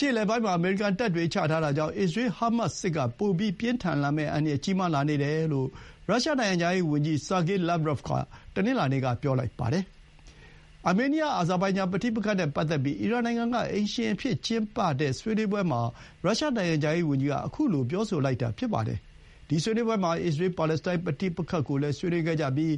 ရှေ့အလယ်ပိုင်းမှာ အမေရိကန်တပ်တွေ ချထားတာကြောင့် အစ္စရေး ဟားမတ်စ် စစ်က ပိုပြီးပြင်းထန်လာမယ့်အန္တရာယ် ကြီးမားလာနေတယ်လို့ ရုရှားနိုင်ငံခြားရေးဝန်ကြီး ဆာဂေး လာ့ဗ်ဗရော့ဗ်က တနင်္လာနေ့က ပြောလိုက်ပါတယ်။ အာမေးနီးယား၊ အဇာဘိုင်ဂျန်ပဋိပက္ခနဲ့ပတ်သက်ပြီး အီရန် နိုင်ငံ က အိမ်ရှင်အဖြစ်ကျင်းပတဲ့ဆွေးနွေးပွဲမှာ ရုရှား နိုင်ငံခြားရေးဝန်ကြီးက ခုလို ပြောဆိုလိုက်တာဖြစ်ပါတယ်။ ဒီ ဆွေးနွေးပွဲမှာ အစ္စရေး-ပါလက်စတိုင်း ပဋိပက္ခကိုလည်းဆွေးနွေးခဲ့ကြပြီး